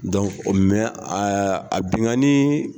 binganiii.